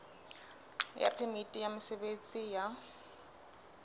ya phemiti ya mosebetsi ya